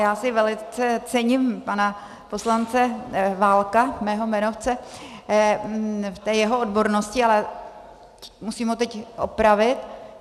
Já si velice cením pana poslance Válka, svého jmenovce, v té jeho odbornosti, ale musím ho teď opravit.